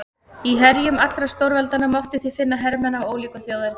Í herjum allra stórveldanna mátti því finna hermenn af ólíku þjóðerni.